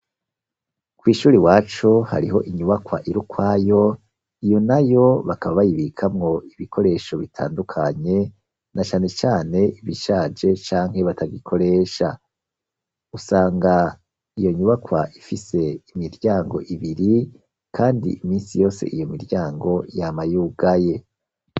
Kw'ishure iwacu, hariho inyubakwa iri ukwayo, iyo na yo, bakaba bayibikamwo ibikoresho bitandukanye, na cane cane ibishaje, canke batagikoresha, usanga iyo nyubakwa ifise imiryango ibiri, kandi iminsi yose, iyo miryango yama yugaye.